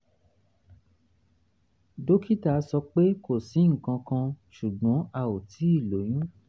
dókítà sọ pé kò sí nǹkan kan ṣùgbọ́n a ò tíì lóyún